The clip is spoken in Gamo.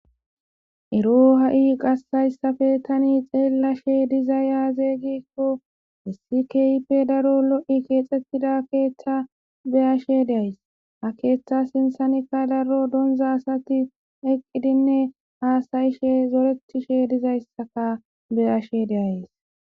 ero ha7i qassayssafe tani xeellashe diza yaazeegikko issi keype daro lo7i keexxettida keeththa beyashe deays a keeththa sinsanikka daro donza asati eqqidinne haasayishe zorettishe dizayssaka be ashe deays